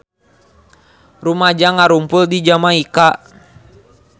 Rumaja ngarumpul di Jamaika